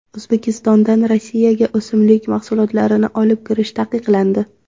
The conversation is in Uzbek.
O‘zbekistondan Rossiyaga o‘simlik mahsulotlarini olib kirish taqiqlandi.